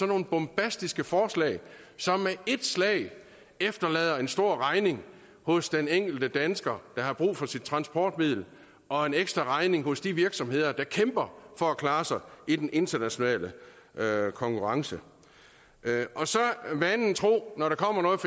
nogle bombastiske forslag som med et slag efterlader en stor regning hos den enkelte dansker der har brug for sit transportmiddel og en ekstraregning hos de virksomheder der kæmper for at klare sig i den internationale konkurrence og så vanen tro når der kommer noget